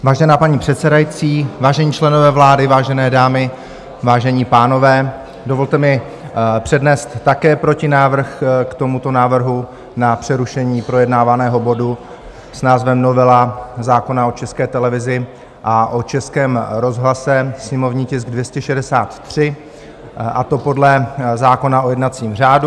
Vážená paní předsedající, vážení členové vlády, vážené dámy, vážení pánové, dovolte mi přednést také protinávrh k tomuto návrhu na přerušení projednávaného bodu s názvem novela zákona o České televizi a o Českém rozhlase, sněmovní tisk 263, a to podle zákona o jednacím řádu.